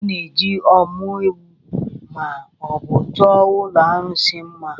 A na-eji ọ́mụ́ ewù ma ọ bụ chọọ ụlọ arụsị mma.